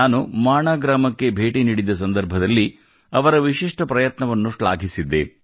ನಾನು ಮಾಣಾ ಗ್ರಾಮಕ್ಕೆ ಭೇಟಿ ನೀಡಿದ್ದ ಸಂದರ್ಭದಲ್ಲಿ ಅವರ ವಿಶಿಷ್ಟ ಪ್ರಯತ್ನವನ್ನು ಶ್ಲಾಘಿಸಿದ್ದೆ